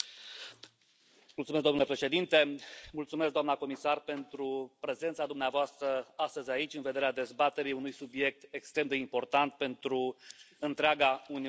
Domnule președinte, mulțumesc, doamnă comisar, pentru prezența dumneavoastră astăzi aici în vederea dezbaterii unui subiect extrem de important pentru întreaga Uniune Europeană.